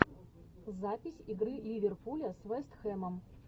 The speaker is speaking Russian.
запись игры ливерпуля с вест хэмом